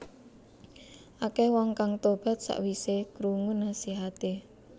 Akèh wong kang tobat sakwisé krungu nasihaté